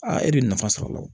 Aa e de ye nafa sɔrɔ a la